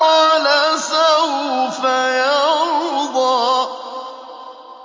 وَلَسَوْفَ يَرْضَىٰ